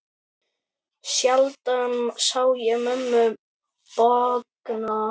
Sjaldan sá ég mömmu bogna.